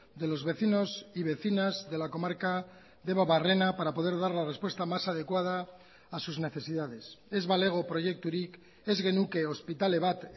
de los vecinos y vecinas de la comarca debabarrena para poder dar la respuesta más adecuada a sus necesidades ez balego proiekturik ez genuke ospitale bat